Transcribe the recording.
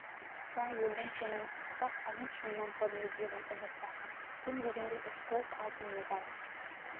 да елдің сенімін ақтап олимп шыңынан көрінеді деген үміт басым кем дегенде үш-төрт алтын медаль